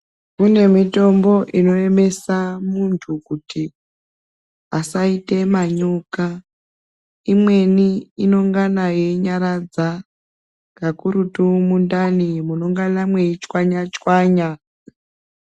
Kune mitombo inoyemesa muntu kuti ,asaite manyoka. Imweni inongana yeinyaradza, kakurutu mundani munongana mweichwanya-chwanya.